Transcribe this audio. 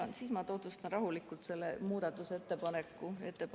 Siis ma tutvustan teile rahulikult seda muudatusettepanekut.